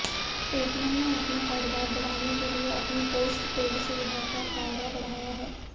Paytm ने अपना कारोबार बढ़ाने के लिए अपनी पोस्टपेड सुविधा का दायरा बढ़ाया है